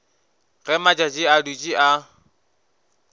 ge matšatši a dutše a